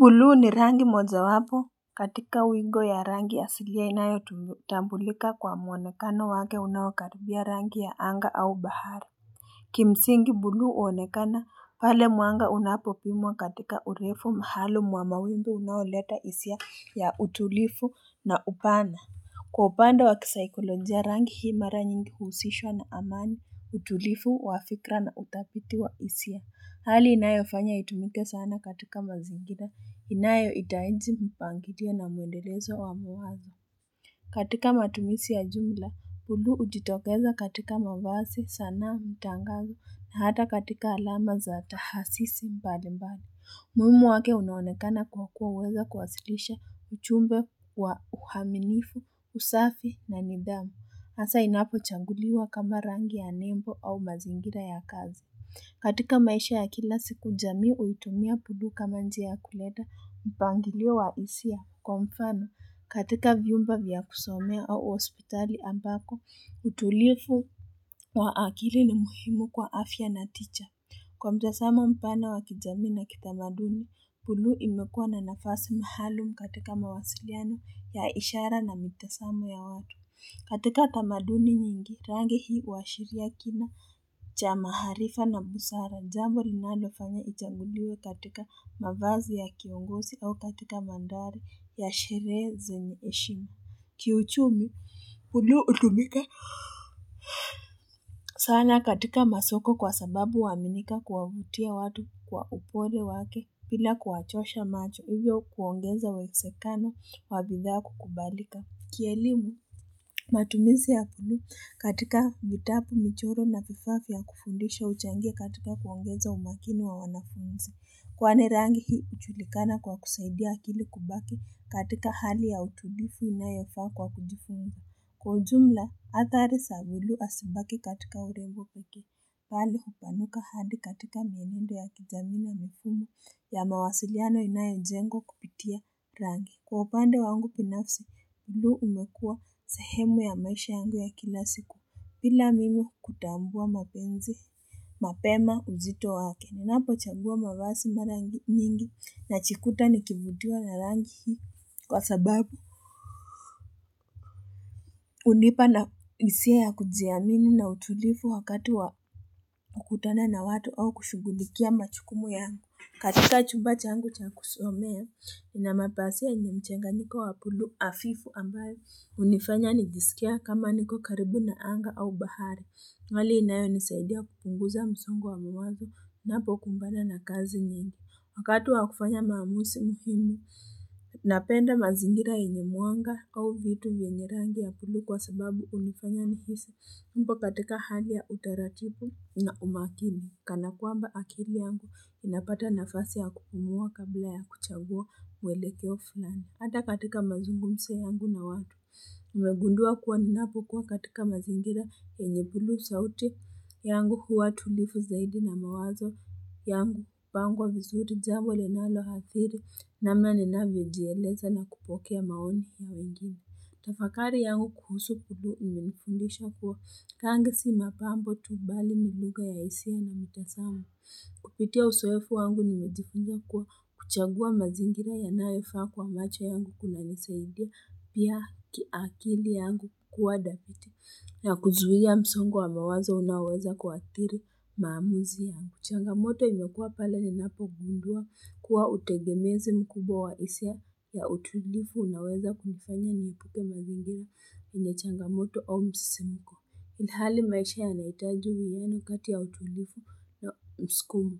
Blue ni rangi mojawapo katika wingo ya rangi asilia inayotambulika kwa mwonekano wake unaokaribia rangi ya anga au bahari kimsingi buluu huonekana pale mwanga unapopimwa katika urefu mahali mwa mawingu unaoleta hisia ya utulifu na upana kwa upande wa kisaikolojia rangi hii mara nyingi huusishwa na amani utulifu wa fikra na utafiti wa hisia Hali inayofanya itumike sana katika mazingira, inayoitaiji mpangiria na mwendelezo wa muhazi. Katika matumizi ya jumla, buluu hujitokeza katika mavazi sanaa mtangazo na hata katika alama za tahasisi mbali mbali. Umuhimu wake unaonekana kwa kuwa huweza kuwasilisha ujumbe wa uaminifu, usafi na nidhamu. Haasa inapochanguliwa kama rangi ya nembo au mazingira ya kazi. Katika maisha ya kila siku jamii huitumia buluu kama njia ya kuleta mpangilio wa hisia kwa mfano. Katika vyumba vya kusomea au hospitali ambako utulivu wa akili ni muhimu kwa afya na tija. Kwa mtazamo mpana wa kijamii na kitamaduni, buluu imekua na nafasi maalum katika mawasiliano ya ishara na mitazamo ya watu. Katika tamaduni nyingi, rangi hii huashiria kima cha maarifa na busara. Jambo linalofanya ijaguliwe katika mavazi ya kiongozi au katika mandhari ya sherehe zenye heshima. Kiuchumi buluu hutumika sana katika masoko kwa sababu huaminika kuwavutia watu kwa upole wake bila kuwachosha macho hivyo kuongeza uwezekano wa bidhaa kukubalika Kielimu matumizi ya buluu katika vitabu michoro na vifaa vya kufundisha huchangia katika kuongeza umakini wa wanafunzi Kwani rangi hii hujulikana kwa kusaidia akili kubaki katika hali ya utulivu inayofaa kwa kujifunza Kwa ujumla, hathari za bluu hazibaki katika urenbo pekee, pali hupanuka hadi katika mienendo ya kijamii na mifumo ya mawasiliano inayojengwa kupitia rangi. Kwa upande wangu binafsa, buluu imekua sehemu ya maisha yangu ya kila siku bila mimi kutambua mapenzi. Mapema uzito wake, ninapochagua mavazi mara nyingi najikuta nikivutiwa na rangi hii. Kwa sababu, hunipa na hisia ya kujiamini na utulivu wakati wa kukutana na watu au kushugulikia majukumu yangu. Katika chumba changu cha kusomea, inamapasia yenye mchanganyiko wa bluu hafifu ambayo hunifanya nijisikie kama niko karibu na anga au bahari. Hali inayonisaidia kupunguza msongo wa mawazo, ninapokumbana na kazi nyingi. Wakati wa kufanya maamuzi muhimu, napenda mazingira yenye mwanga au vitu vyenye rangi ya buluu kwa sababu hunifanya nihisi nipo katika hali ya utaratibu na umakini. Kana kwamba akili yangu inapata nafasi ya kupumua kabla ya kuchagua mwelekeo fulani. Hata katika mazungumzo yangu na watu, nimegundua kuwa ninapokuwa katika mazingira yenye buluu sauti yangu huwa tulivu zaidi na mawazo yangu hupangwa vizuri jambo linaloathiri namna ninavyojieleza na kupokea maoni ya wenginr. Tafakari yangu kuhusu bluee inifundisha kuwa rangi si mapambo tu bali ni lugha ya hisia na mitazamo. Kupitia uzoefu wangu nimejifunza kuwa kuchagua mazingira yanayofaa kwa macho yangu kunanisaidia pia kiakili yangu kukua thabiti na kuzuia msongo wa mawazo unaoweza kuathiri maamuzi yangu. Changamoto imekuwa pale ninapogundua kuwa utegemezi mkubwa wa hisia ya utulivu unaweza kumufanya nikute mazingira yenye changamoto au msisimko. Ilhali maisha yanahitaji wiyano kati ya utulivu ya mskumo.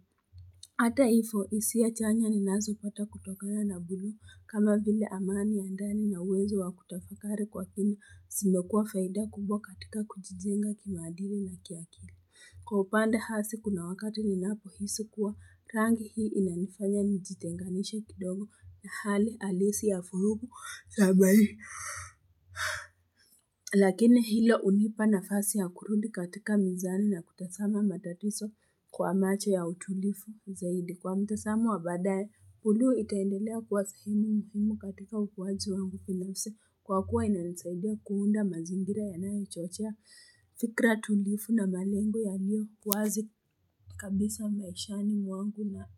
Hata hivyo hisia chanya ninazopata kutokana na buluu kama vile amani ya ndani na uwezo wa kutafakari kwa kina zimekuwa faida kubwa katika kujijenga kimaadili na kiakili Kwa upande hasi kuna wakati ninapohisi kuwa rangi hii inanifanya nijitenganisha kidogo na hali halisi ya furugu za maisha. Lakini hilo hunipa nafasi ya kurudi katika mizani na kutazama matatizo kwa macho ya utulivu zaidi kwa mtazamo wa baadae buluu itaendelea kuwa sahemu muhimu katika ukuwaji wangu binafsi kwa kuwa inanesaidia kuunda mazingira yanayochochea fikra tulifu na malengo yaliyo wazi kabisa maishani mwangu na.